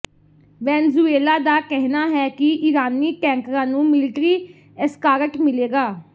Venezuela ਦਾ ਕਹਿਣਾ ਹੈ ਕਿ ਈਰਾਨੀ ਟੈਂਕਰਾਂ ਨੂੰ ਮਿਲਟਰੀ ਐਸਕਾਰਟ ਮਿਲੇਗਾ